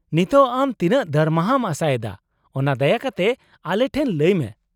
ᱱᱤᱛᱳᱜ, ᱟᱢ ᱛᱤᱱᱟᱹᱜ ᱫᱟᱨᱢᱟᱦᱟᱢ ᱟᱥᱟᱭᱮᱫᱟ ᱚᱱᱟ ᱫᱟᱭᱟ ᱠᱟᱛᱮ ᱟᱞᱮ ᱴᱷᱮᱱ ᱞᱟᱹᱭ ᱢᱮ ᱾